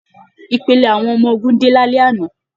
Ìpele àwọn ọmọ ogun dé lálẹ́ àná.